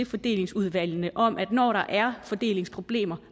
fordelingsudvalgene om at når der er fordelingsproblemer